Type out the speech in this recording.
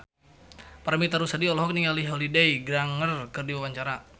Paramitha Rusady olohok ningali Holliday Grainger keur diwawancara